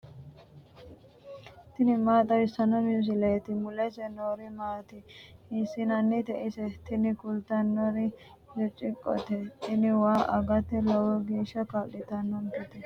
tini maa xawissanno misileeti ? mulese noori maati ? hiissinannite ise ? tini kultannori birciqqote. tinino waa agate lowo geeshsha kaa'litannonketa.